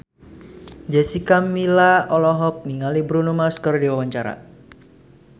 Jessica Milla olohok ningali Bruno Mars keur diwawancara